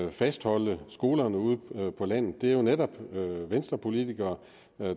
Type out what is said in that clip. at fastholde skolerne ude på landet det er jo netop venstrepolitikere